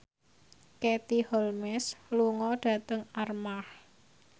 Katie Holmes lunga dhateng Armargh